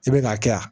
I bɛn'a kɛ yan